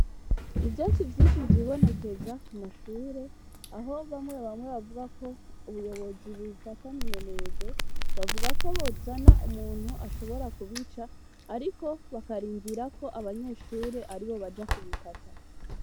Ivyonsi vyinshi vyibonekeza ku mashure aho bamwe bamwe bavuga ko ubuyobozi bufataminenerwe bavuga ko bozana umuntu ashobora kubica, ariko bakarindira ko abanyeshure ari bo baja kubikata.